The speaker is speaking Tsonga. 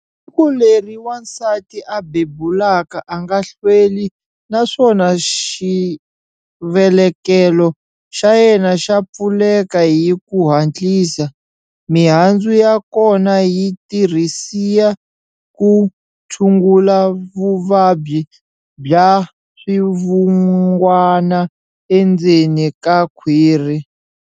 Siku leri wansati a bebulaka a nga hlweli naswona xivelekelo xa yena xa pfuleka hi ku hatlisa. Mihandzu ya kona yi tirhisia ku tshungula vuvabyi bya swivungwana endzeni ka khwiri.